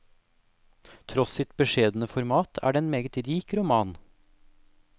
Tross sitt beskjedne format er det en meget rik roman.